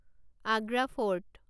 Agra fort